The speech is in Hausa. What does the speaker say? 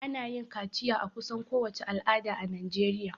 Ana yin kaciya a kusan kowace al'ada a najeriya